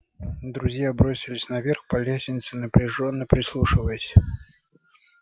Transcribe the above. друзья бросились на верх по лестнице напряжённо прислушиваясь